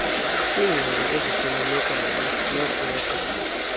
kwiingxelo ezifumanekayo nothetha